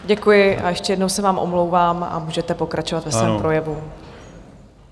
Děkuji a ještě jednou se vám omlouvám a můžete pokračovat ve svém projevu.